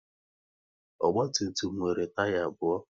Ogba tum tum nwere taya abụọ